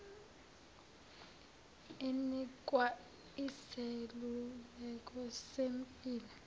inikwa iseluleko sezempilo